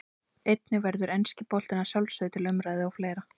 Einnig verður enski boltinn að sjálfsögðu til umræðu og fleira.